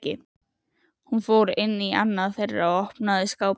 Hún fór inn í annað þeirra og opnaði skápinn.